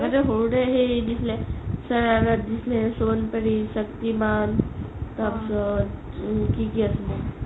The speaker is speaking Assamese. আগতে সৰুতে সেই দিছিলে শৰৰাত দিছিলে, সোণপৰি, শক্তিমান তাৰপিছত উম কি কি আছিলে